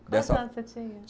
Quantos anos você tinha?